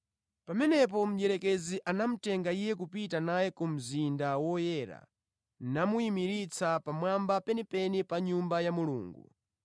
Pamenepo mdierekezi anapita naye ku mzinda woyera namuyimiritsa pamwamba penipeni pa Nyumba ya Mulungu.